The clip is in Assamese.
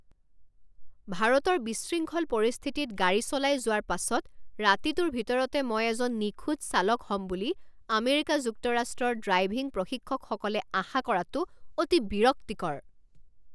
ভাৰতৰ বিশৃংখল পৰিস্থিতিত গাড়ী চলাই যোৱাৰ পাছত ৰাতিটোৰ ভিতৰতে মই এজন নিখুঁত চালক হ'ম বুলি আমেৰিকা যুক্তৰাষ্ট্ৰৰ ড্ৰাইভিং প্ৰশিক্ষকসকলে আশা কৰাটো অতি বিৰক্তিকৰ।